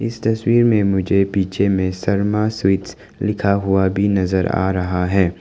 इस तस्वीर में मुझे पीछे में शर्मा स्वीट्स लिखा हुआ भी नजर आ रहा है।